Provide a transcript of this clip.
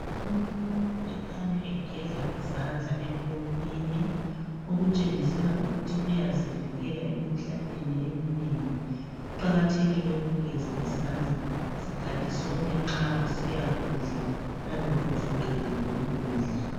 Umuntu ekhanya egeza izandla empompini okutshengisela ukuthi uyazivikela emkhuhlaneni eminengi kuqakathekile ukugeza izandla sikhathi sonke nxa usiya kudla laloba usuqedile ukudla.